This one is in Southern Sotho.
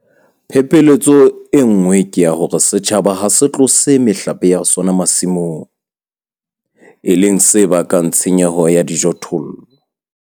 Phephetso e nngwe ke ya hore setjhaba ha se tlose mehlape ya sona masimong, e leng se bakang tshenyo ya dijothollo.